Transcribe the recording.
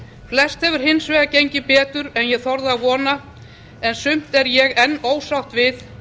flest hefur hins vegar gengið betur en ég þorði að vona en sumt er ég enn ósátt við